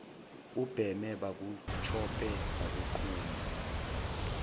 ubheme bakutshope bakugqume